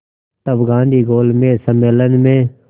तब गांधी गोलमेज सम्मेलन में